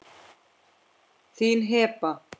Þín, Heba.